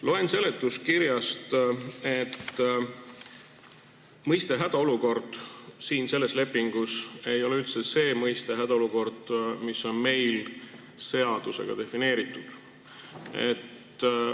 Loen seletuskirjast, et mõiste "hädaolukord" ei tähenda selles lepingus üldse seda mõistet "hädaolukord", mis on meil seadusega defineeritud.